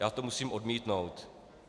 Já to musím odmítnout.